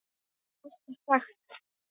Ég hef alltaf sagt það.